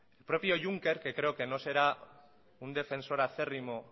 el propio juncker que creo que no será un defensor acérrimo